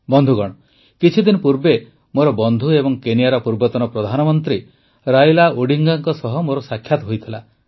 ବନ୍ଧୁଗଣ କିଛିଦିନ ପୂର୍ବେ ମୋର ବନ୍ଧୁ ଏବଂ କେନିଆର ପୂର୍ବତନ ପ୍ରଧାନମନ୍ତ୍ରୀ ରାଇଲା ଓଡିଙ୍ଗାଙ୍କ ସହ ମୋର ସାକ୍ଷାତ ହୋଇଥିଲା